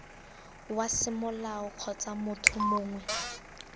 wa semolao kgotsa motho mongwe